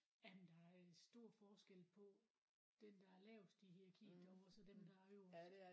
Jamen der er stor forskel på den der er lavest i hierarkiet derovre og så dem der er øverst